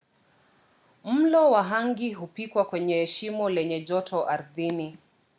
mlo wa hangi hupikiwa kwenye shimo lenye joto ardhini